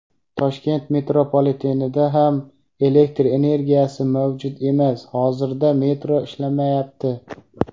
Toshkent metropolitenida ham elektr energiyasi mavjud emas va hozirda metro ishlamayapti.